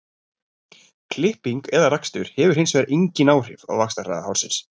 klipping eða rakstur hefur hins vegar engin áhrif á vaxtarhraða hársins